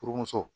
Furumuso